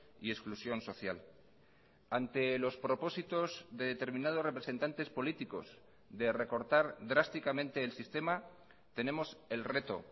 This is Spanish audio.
y exclusión social ante los propósitos de determinados representantes políticos de recortar drásticamente el sistema tenemos el reto